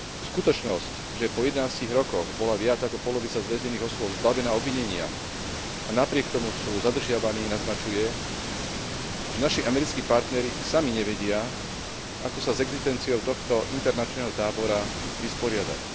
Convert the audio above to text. Skutočnosť, že po 11 rokoch bola viac ako polovica z väznených osôb zbavená obvinenia, a napriek tomu sú zadržiavaní, naznačuje, že naši americkí partneri sami nevedia, ako sa s existenciou tohto internačného tábora vysporiadať.